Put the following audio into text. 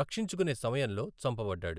రక్షించుకునే సమయంలో చంపబడ్డాడు.